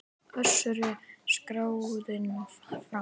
Össuri skákað fram.